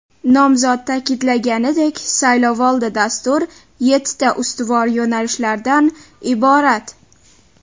Nomzod ta’kidlaganidek, saylovoldi Dastur yettita ustuvor yo‘nalishlardan iborat.